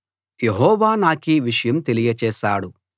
యెహోవా నాకీ విషయం తెలియచేశాడు